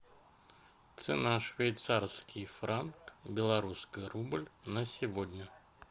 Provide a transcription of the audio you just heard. цена швейцарский франк в белорусский рубль на сегодня